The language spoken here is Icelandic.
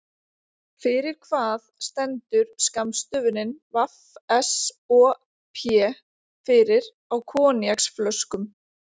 Fyrir hvað stendur skammstöfunin VSOP fyrir á koníaksflöskum?